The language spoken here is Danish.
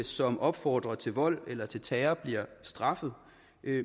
som opfordrer til vold eller til terror bliver straffet